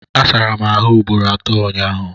Asara m ahụ ugboro atọ ụnyaahụ